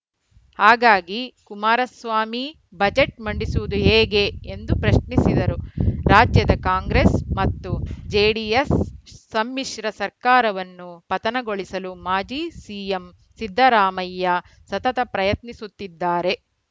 ಹಾಗಾಗಿ ಕುಮಾರಸ್ವಾಮಿ ಬಜೆಟ್‌ ಮಂಡಿಸುವುದು ಹೇಗೆ ಎಂದು ಪ್ರಶ್ನಿಸಿದರು ರಾಜ್ಯದ ಕಾಂಗ್ರೆಸ್‌ ಮತ್ತು ಜೆಡಿಎಸ್‌ ಸಮ್ಮಿಶ್ರ ಸರ್ಕಾರವನ್ನು ಪತನಗೊಳಿಸಲು ಮಾಜಿ ಸಿಎಂ ಸಿದ್ದರಾಮಯ್ಯ ಸತತ ಪ್ರಯತ್ನಿಸುತ್ತಿದ್ದಾರೆ